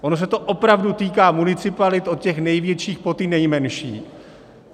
Ono se to opravdu týká municipalit, od těch největších, po ty nejmenší.